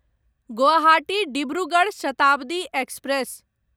Guwahati Dibrugarh Shatabdi express